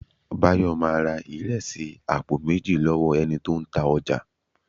Bayo máa ra ìrẹsì àpò méjì lọ́wọ́ ẹni tó ń ta ọjà